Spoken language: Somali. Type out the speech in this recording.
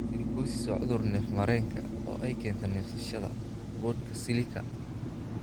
Silicosis waa cudur neef-mareenka oo ay keento neefsashada (neefsashada) boodhka silica.